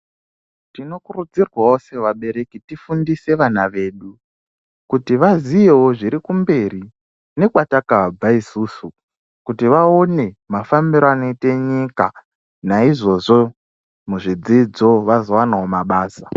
Tinokuridzirwa sevabereki kuti tifundise vana vedu kuti vaziyewo zviri kumberi nekwatakabva isusu kuti voone mafambiro anoita nyika naizvozvo muzvidzidzo vazowabawo nabasa